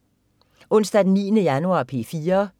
Onsdag den 9. januar - P4: